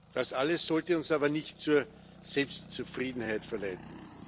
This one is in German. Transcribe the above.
Das alles sollte uns aber nicht zur Selbstzufriedenheit verleiten.